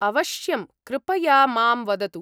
अवश्यम्, कृपया मां वदतु।